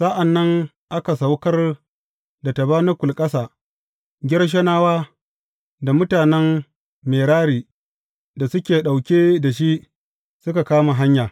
Sa’an nan aka saukar da tabanakul ƙasa, Gershonawa da mutanen Merari da suke ɗauke da shi suka kama hanya.